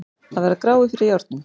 Að vera gráir fyrir járnum